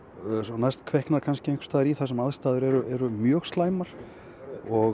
næst kviknar kannski einhvers staðar í þar sem aðstæður eru mjög slæmar og